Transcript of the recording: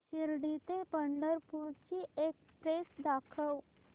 शिर्डी ते पंढरपूर ची एक्स्प्रेस दाखव